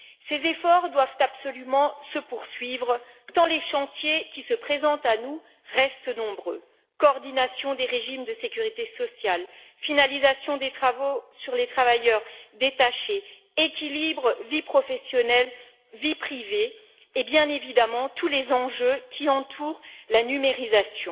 Ces efforts doivent absolument se poursuivre, tant les chantiers qui se présentent à nous restent nombreux coordination des régimes de sécurité sociale, finalisation des travaux sur les travailleurs détachés, équilibre entre vie professionnelle et vie privée et, bien évidemment, tous les enjeux qui entourent la numérisation.